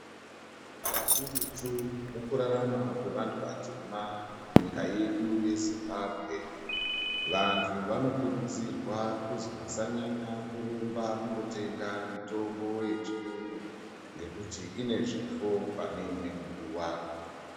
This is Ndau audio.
Kakurutu mukurarama kwevantu vatema munyika yedu yeZimbabwe vantu vano kurudzirwa kuzwi vasanyanya kurumba kunotenga mitombo yechiungu ngekuti ine zvifo pane imweni nguwa.